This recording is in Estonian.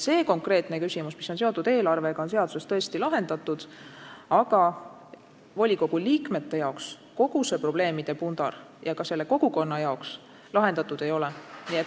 See konkreetne küsimus, mis on seotud eelarvega, on seaduses tõesti lahendatud, aga volikogu liikmete jaoks ja ka kogukonna jaoks kogu see probleemide pundar lahendatud ei ole.